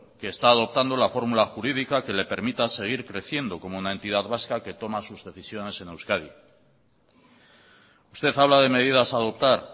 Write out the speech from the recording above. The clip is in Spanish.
que está adoptando la fórmula jurídica que le permita seguir creciendo como una entidad vasca que toma sus decisiones en euskadi usted habla de medidas a adoptar